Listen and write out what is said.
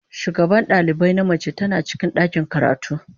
shugaban dalibai na mace tana cikin ɗakin karatu.